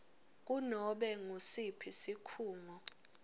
kunobe ngusiphi sikhungo